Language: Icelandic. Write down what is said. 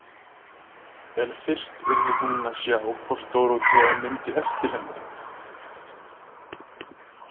En fyrst yrði hún að sjá hvort Dórótea myndi eftir henni.